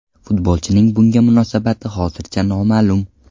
Futbolchining bunga munosabati hozircha noma’lum.